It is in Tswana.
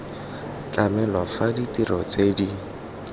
tlamelwa fa ditiro tse di